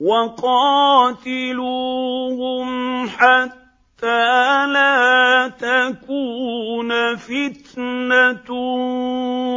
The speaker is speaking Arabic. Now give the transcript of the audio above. وَقَاتِلُوهُمْ حَتَّىٰ لَا تَكُونَ فِتْنَةٌ